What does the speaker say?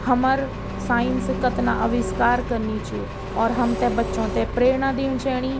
हमर साइंस कतना आविष्कार कनी च और हमथे बच्चो थे प्रेरणा दीन चयणी।